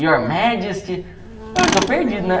Your Majesty, eu estou perdido, né?